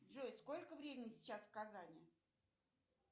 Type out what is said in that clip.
джой сколько времени сейчас в казани